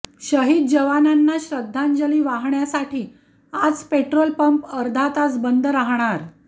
शहीद जवानांना श्रद्धांजली वाहण्यासाठी आज पेट्रोल पंप अर्धा तास बंद राहणार